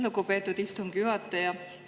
Lugupeetud istungi juhataja!